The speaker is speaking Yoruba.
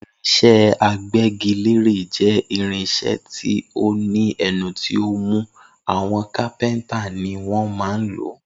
Irinsé agbégilére jé irinsé tí o ní ẹnu tí ọ mú, àwọn kápéntà ni wọn má ń lòó